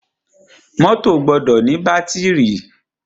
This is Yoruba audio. Mọ́tọ̀ gbọdọ ní bátìrì.